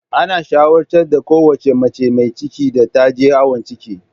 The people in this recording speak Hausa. Ana shawartar kowace mace mai ciki da ta je awon ciki.